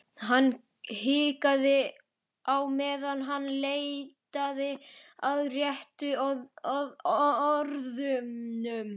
Hann hikaði á meðan hann leitaði að réttu orðunum.